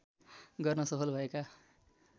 गर्न सफल भएका